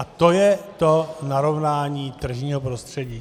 A to je to narovnání tržního prostředí.